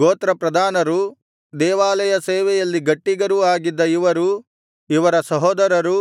ಗೋತ್ರ ಪ್ರಧಾನರು ದೇವಾಲಯ ಸೇವೆಯಲ್ಲಿ ಗಟ್ಟಿಗರೂ ಆಗಿದ್ದ ಇವರೂ ಇವರ ಸಹೋದರರೂ